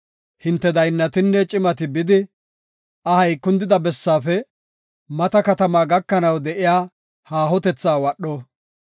hinte daynnatinne cimati bidi, ahay kundida bessaafe mata katamata gakanaw de7iya haahotetha wadho.